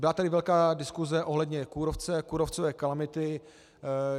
Byla tady velká diskuse ohledně kůrovce, kůrovcové kalamity.